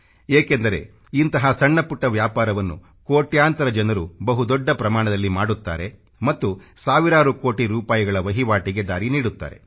ಏಕೆಂದರೆ ಇಂತಹ ಸಣ್ಣ ಪುಟ್ಟ ವ್ಯಾಪಾರವನ್ನು ಕೊಟ್ಯಾಂತರ ಜನರು ಬಹು ದೊಡ್ಡ ಪ್ರಮಾಣದಲ್ಲಿ ಮಾಡುತ್ತಾರೆ ಮತ್ತು ಸಾವಿರಾರು ಕೋಟಿ ರೂಪಾಯಿಗಳ ವಹಿವಾಟಿಗೆ ದಾರಿ ನೀಡುತ್ತಾರೆ